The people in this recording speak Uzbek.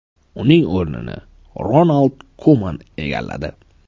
Uning o‘rnini Ronald Kuman egalladi .